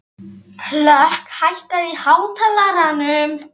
Hlökk, hækkaðu í hátalaranum.